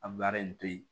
A baara in to yen